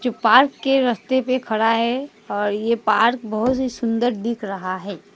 Park के रास्ते पर खड़ा है और ये पार्क बहुत ही सुंदर दिख रहा है।